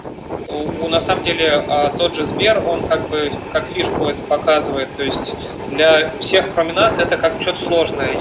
то на самом деле тот же сбер он как бы как фишку это показывает то есть для всех кроме нас это как что-то сложное